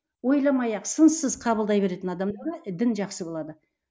ойламай ақ сынсыз қабылдай беретін адамдарға дін жақсы болады